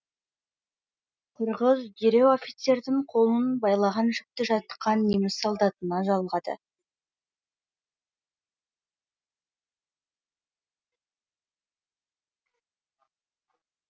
қырғыз дереу офицердің қолын байлаған жіпті жатқан неміс солдатына жалғады